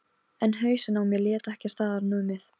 En hausinn á mér lét ekki staðar numið.